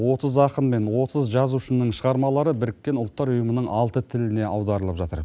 отыз ақын мен отыз жазушының шығармалары біріккен ұлттар ұйымының алты тіліне аударылып жатыр